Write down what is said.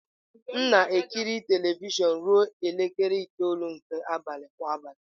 M na-ekiri telivishọn ruo elekere itoolu nke abalị kwa abalị.